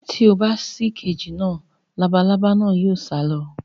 Tí o bá ṣí kééjì náà. Labalábá náà yóò sá lọ.